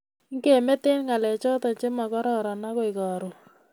Ngemete ngalechoto chemagororon agoi karoon